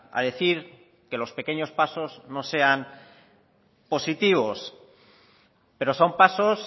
a decir que los pequeños pasos no sean positivos pero son pasos